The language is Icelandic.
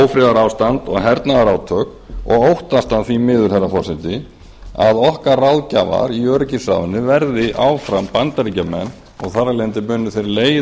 ófriðarástand og hernaðarátök og óttast því miður herra forseti að okkar ráðgjafar í öryggisráðinu verði áfram bandaríkjamenn og þar af leiðandi munu